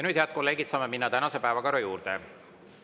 Nüüd, head kolleegid, saame minna tänase päevakorra juurde.